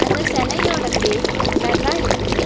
அந்த செலயோட ஃபேஸ் பிளர்ரா இருக்கு.